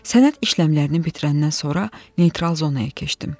Sənəd işləmlərini bitirəndən sonra neytral zonaya keçdim.